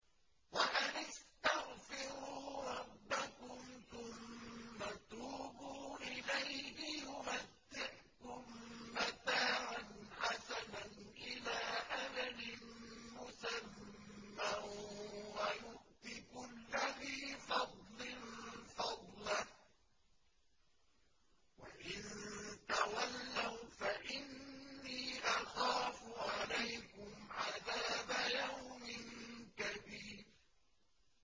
وَأَنِ اسْتَغْفِرُوا رَبَّكُمْ ثُمَّ تُوبُوا إِلَيْهِ يُمَتِّعْكُم مَّتَاعًا حَسَنًا إِلَىٰ أَجَلٍ مُّسَمًّى وَيُؤْتِ كُلَّ ذِي فَضْلٍ فَضْلَهُ ۖ وَإِن تَوَلَّوْا فَإِنِّي أَخَافُ عَلَيْكُمْ عَذَابَ يَوْمٍ كَبِيرٍ